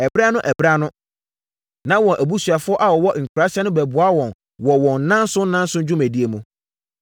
Ɛberɛ-ano-berɛ-ano, na wɔn abusuafoɔ a wɔwɔ nkuraaseɛ no bɛboa wɔn wɔ wɔn nnanson nnanson dwumadie mu.